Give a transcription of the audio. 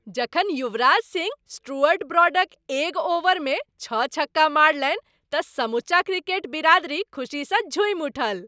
जखन युवराज सिंह स्टुअर्ट ब्रॉडक एक ओवरमे छओ छक्का मारलनि तऽ समुचा क्रिकेट बिरादरी खुशीसँ झूमि उठल।